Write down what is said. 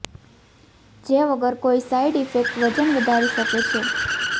જે વગર કોઈ સાઈડ ઈફેક્ટ વજન વધારી શકે છે